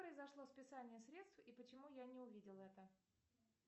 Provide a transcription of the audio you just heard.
произошло списание средств и почему я не увидела это